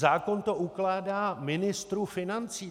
Zákon to ukládá ministru financí.